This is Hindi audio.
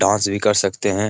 डांस भी कर सकते हैं।